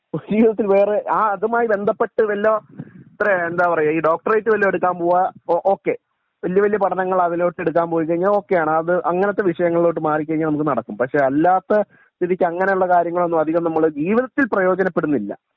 ജീവിതത്തിൽ വേറെ ആ അതുമായി ബന്ധപ്പെട്ട് വല്ലോം അത്രേ എന്താ പറയാ ഈ ഡോക്ടറേറ്റ് വല്ലോം എടുക്കാൻ പോവേ ഓ ഓക്കേ വല്യ വല്യ പഠനങ്ങൾ അതിലൊട്ട് എടുക്കാൻ പോവെച്ചെങ്കി ഒകെ ആണ് അത് അങ്ങിനത്തെ വിഷയങ്ങളിലോട്ട് മാറി കഴിഞ്ഞാൽ നമുക്ക് നടക്കും പക്ഷെ അല്ലാത്ത സ്ഥിതിക്ക് അങ്ങിനെ ഉള്ള കാര്യങ്ങളൊന്നും അധികം നമ്മൾ ജീവിതത്തിൽ പ്രയോജനപ്പെടുന്നില്ല